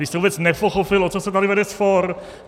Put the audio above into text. Vy jste vůbec nepochopil, o co se tady vede spor.